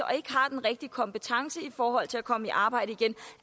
og ikke har den rigtige kompetence i forhold til at komme i arbejde igen